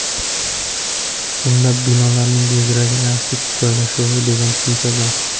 Unda binolarning geografik joylashuvi degan tushuncha bor.